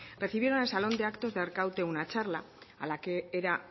recibieron en el salón de actos de arkaute una charla a la que era